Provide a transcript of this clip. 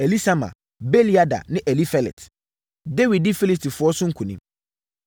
Elisama, Beeliada ne Elifelet. Dawid Di Filistifoɔ So Nkonim